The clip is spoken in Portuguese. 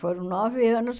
Foram nove anos.